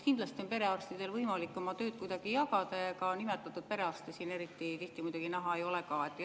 Kindlasti on perearstidel võimalik oma tööd kuidagi jagada, ega nimetatud perearste siin eriti tihti näha ei ole ka.